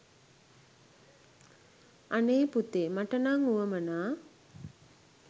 අනේ පුතේ මට නම් වුවමනා